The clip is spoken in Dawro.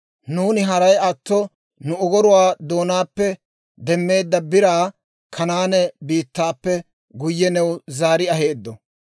Nuuni haray atto nu ogoruwaa doonaappe demmeedda biraa Kanaane biittaappe guyye new zaari aheeddo.